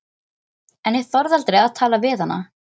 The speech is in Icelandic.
En ég þorði aldrei að tala við hana.